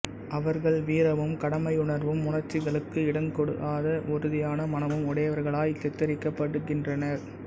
அவர்கள் வீரமும் கடமையுணர்வும் உணர்ச்சிகளுக்கு இடங்கொடாத உறுதியான மனமும் உடையவர்களாய் சித்தரிக்கப்படுகின்றனர்